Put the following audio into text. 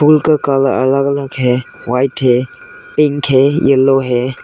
फूल का कलर अलग अलग है व्हाइट है पिंक है येलो है।